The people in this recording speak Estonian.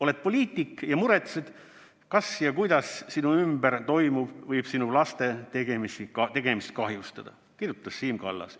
Oled poliitik ja muretsed, kas ja kuidas sinu ümber toimuv võib sinu laste tegemisi kahjustada, kirjutas Siim Kallas.